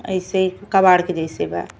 ऐसे कबाड़ के जइसे बा।